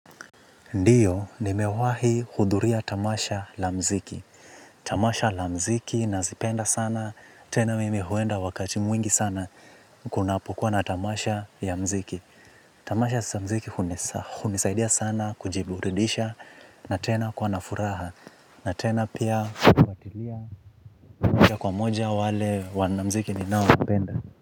Ndiyo, nimewahi hudhuria tamasha la mziki. Tamasha la mziki nazipenda sana, tena mimi huenda wakati mwingi sana. Kunapokuwa na tamasha ya mziki tamasha za mziki hunisaidia sana kujiburidisha na tena kuwa na furaha. Na tena pia kufatilia moja moja wale wanamziki ninao napenda.